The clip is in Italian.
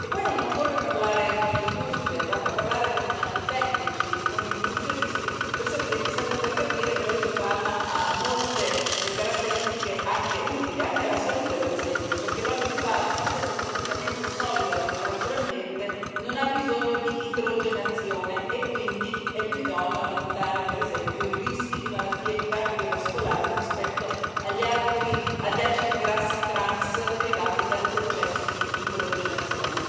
E poi non occorre parlare con le industrie, basta parlare con i tecnici e con i nutrizionisti per capire che l'olio di palma ha molte caratteristiche anche utili, per esempio per la salute, perché l'olio di palma, essendo praticamente solido a temperatura ambiente, non ha bisogno di idrogenazione e quindi è più idoneo a limitare, per esempio, i rischi di malattie cardiovascolari rispetto agli acidi grassi trans derivanti dal processo di idrogenazione.